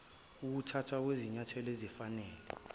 ukuthathwa kwezinyathelo ezifanele